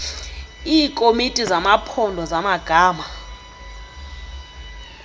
iikomiti zamaphondo zamagama